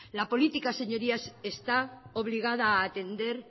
la política señorías está obligada a atender